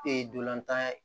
Ee ntolantan ya